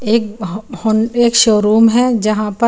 एक होन-होन शोरुम है जहाँ पर--